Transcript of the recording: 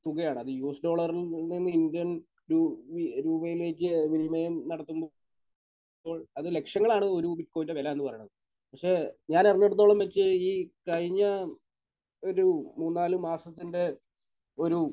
തുകയാണ്. അത് യു.എസ് ഡോളറിൽ നിന്നും ഇന്ത്യൻ രൂ...രൂപയിലേക്ക് വിനിമയം നടത്തുമ്പോൾ അത് ലക്ഷങ്ങളാണ് ഒരു കോയിന്റെ വില എന്ന് പറയുന്നത്. പക്ഷെ ഞാൻ അറിഞ്ഞിടത്തോളം വെച്ച് ഈ കഴിഞ്ഞ ഒരു മൂന്ന് നാല് മാസത്തിന്റെ ഒരു